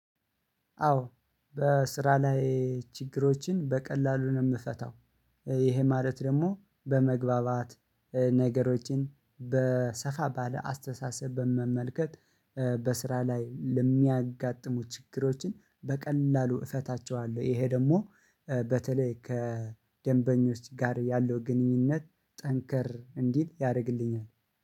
አዎ በስራ ላይ ችግሮችን በቀላሉ ነው የምፈታው። ይሄ ማለት ደግሞ በመግባባት ነገሮችን በሰፋ ባለ አስተሳሰብ በመመልከት። በስራ ላይ ለሚያጋጥሙ ችግሮችን በቀላሉ እፈታቸዋለሁ። ይሄ ደግሞ በተለይ ከደንበኞች ጋር ያለው ግንኙነት ጠንከር እንዲል ያደርግልኛል